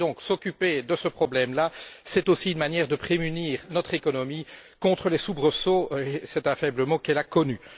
S'occuper de ce problème là, c'est donc aussi une manière de prémunir notre économie contre les soubresauts c'est un faible mot qu'elle a connus.